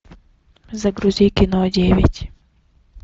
загрузи кино девять